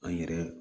An yɛrɛ